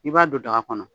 I b'a don daga kɔnɔ